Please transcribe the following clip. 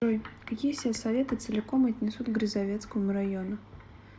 джой какие сельсоветы целиком отнесут к грязовецкому району